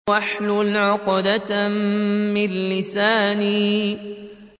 وَاحْلُلْ عُقْدَةً مِّن لِّسَانِي